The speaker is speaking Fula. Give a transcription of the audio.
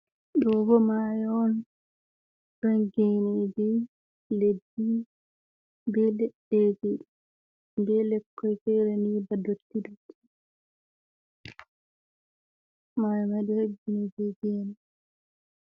Ɗobo mayo on, ɗon geneje, leɗɗi be leddege, be lekkoi fere ni ba dottidotti ,mayo mai ɗo hebbini be gee e.